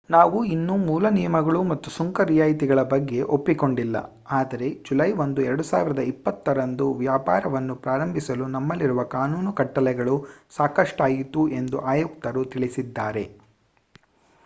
ನಾವು ಇನ್ನೂ ಮೂಲ ನಿಯಮಗಳು ಮತ್ತು ಸುಂಕ ರಿಯಾಯಿತಿಗಳ ಬಗ್ಗೆ ಒಪ್ಪಿಕೊಂಡಿಲ್ಲ ಆದರೆ ಜುಲೈ 1 2020 ರಂದು ವ್ಯಾಪಾರವನ್ನು ಪ್ರಾರಂಭಿಸಲು ನಮ್ಮಲ್ಲಿರುವ ಕಾನೂನು ಕಟ್ಟಲೆಗಳು ಸಾಕಷ್ಟಾಯಿತು ಎಂದು ಆಯುಕ್ತರು ತಿಳಿಸಿದ್ದಾರೆ